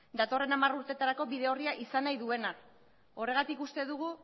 datorren hamar urtetarako bide orria izan nahi duena horregatik uste dugu